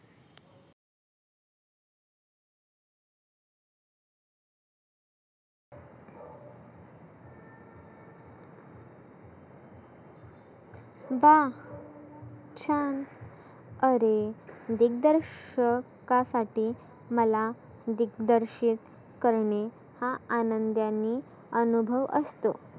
वा छान आरे दिग्दर्शकासाठी मला दिग्दर्शीक करणे हा आनंदानी अनुभव असतो.